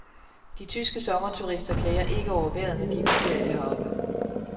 De tyske sommerturister klager ikke over vejret, når de er på ferie heroppe.